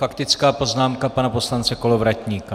Faktická poznámka pana poslance Kolovratníka.